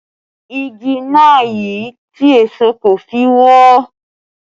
Igi náà yi tí èṣó kò fi wọ ọ́